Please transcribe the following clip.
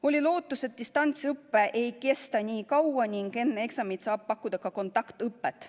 Oli lootus, et distantsõpe ei kesta nii kaua ning enne eksamit saab pakkuda ka kontaktõpet.